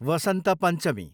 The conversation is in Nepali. वसन्त पञ्चमी